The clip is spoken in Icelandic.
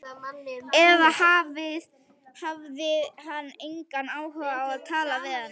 Eða hafði hann engan áhuga á að tala við hana?